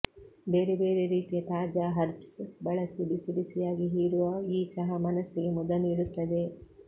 ಬೇರೆ ಬೇರೆ ರೀತಿಯ ತಾಜಾ ಹರ್ಬ್ಸ್ ಬಳಸಿ ಬಿಸಿ ಬಿಸಿಯಾಗಿ ಹೀರುವ ಈ ಚಹಾ ಮನಸ್ಸಿಗೆ ಮುದ ನೀಡುತ್ತದೆ